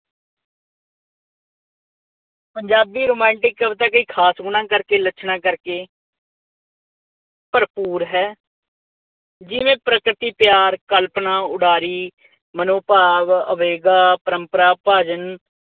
Punjabi romantic ਕਵਿਤਾ ਕਈ ਖਾਸ ਗੁਣਾਂ ਕਰਕੇ, ਲੱਛਣਾਂ ਕਰਕੇ, ਭਰਪੂਰ ਹੈ। ਜਿਵੇਂ ਪ੍ਰਕਿਰਤੀ, ਪਿਆਰ, ਕਲਪਨਾ, ਉਡਾਰੀ, ਮਨੋਭਾਵ ਆਵੇਗਾ ਪ੍ਰੰਪਰਾ ਭਜਨ